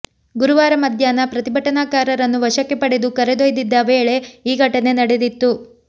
ಗುರುವಾರ ಮಧ್ಯಾಹ್ನ ಪ್ರತಿಭಟನಾಕಾರರನ್ನು ವಶಕ್ಕೆ ಪಡೆದು ಕರೆದೊಯ್ದಿದ್ದ ವೇಳೆ ಈ ಘಟನೆ ನಡೆದಿತ್ತು